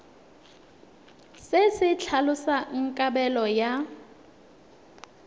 se se tlhalosang kabelo ya